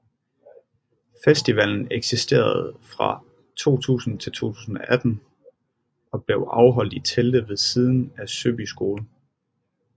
Festivalen eksisterede fra 2000 til 2018 og blev afholdt i telte ved siden af Søby Skole